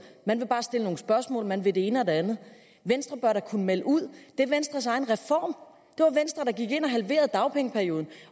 man vil bare stille nogle spørgsmål man vil det ene og det andet venstre bør kunne melde ud det er venstres egen venstre der gik ind og halverede dagpengeperioden